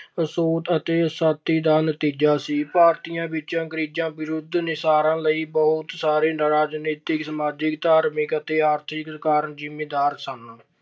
ਅਤੇ ਦਾ ਨਤੀਜਾ ਸੀ। ਭਾਰਤੀਆਂ ਵਿੱਚ ਅੰਗਰੇਜ਼ਾਂ ਵਿਰੁੱਧ ਨਿਸਰਨ ਲਈ ਬਹੁਤ ਸਾਰੇ ਰਾਜਨੀਤਿਕ, ਸਮਾਜਿਕ, ਧਾਰਮਿਕ ਅਤੇ ਆਰਥਿਕ ਕਾਰਨ ਜ਼ਿੰਮੇਦਾਰ ਸਨ।